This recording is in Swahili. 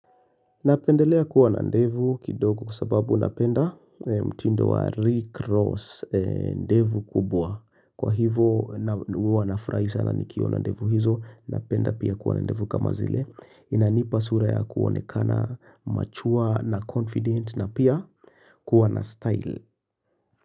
Napendelea kuwa na ndevu kidogo kwasababu napenda mtindo wa rickross ndevu kubwa. Kwa hivo na huwa nafurahi sana nikiona ndevu hizo, napenda pia kuwa na ndevu kama zile. Inanipa sura ya kuonekana machua na confident na pia kuwa na style.